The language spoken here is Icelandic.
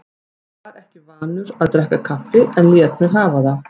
Var ekki vanur að drekka kaffi en lét mig hafa það.